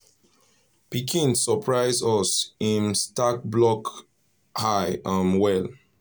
pikin first drawing dey for fridge we share m reach family